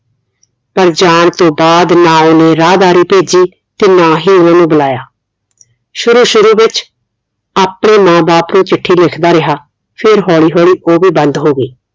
ਪਰ ਜਾਣ ਤੋਂ ਬਾਅਦ ਨਾ ਉਹਨੇ ਰਾਹਦਾਰੀ ਭੇਜੀ ਤੇ ਨਾ ਹੀ ਉਹਨਾਂ ਨੂੰ ਬੁਲਾਇਆ ਸ਼ੁਰੂ ਸ਼ੁਰੂ ਵਿਚ ਆਪਣੇ ਮਾਂ ਬਾਪ ਨੂੰ ਚਿੱਠੀ ਲਿਖਦਾ ਰਿਹਾ ਫੇਰ ਹੋਲੀ ਹੋਲੀ ਉਹ ਵੀ ਬੰਦ ਹੋ ਗਈ